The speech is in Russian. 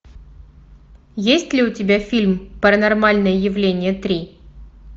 есть ли у тебя фильм паранормальное явление три